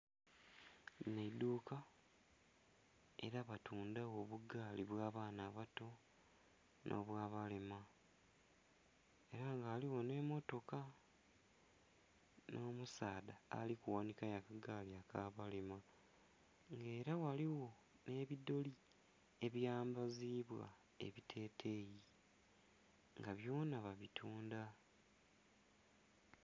Linho eiduuka, era batundha gho abugaali obw'abaana abato nhobwa balema era nga ghaligho nhemmotoka nho musaadha ali kughanhikayo akagaali akabalema nga era ghaligho nhebidholi ebyambazibwa ebiteteyi nga byona babitundha.